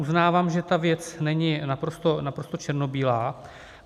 Uznávám, že ta věc není naprosto černobílá.